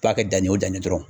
kɛ danni o danni ye dɔrɔn